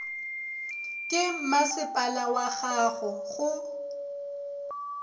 ke masepala wag ago go